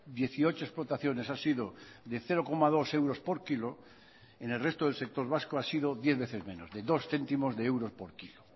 dieciocho explotaciones ha sido de cero coma dos euros por kilo en el resto del sector vasco ha sido diez veces menos de dos céntimos de euros por kilo